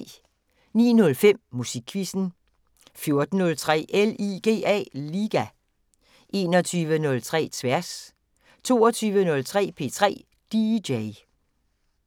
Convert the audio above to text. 09:05: Musikquizzen 14:03: LIGA 21:03: Tværs 22:03: P3 DJ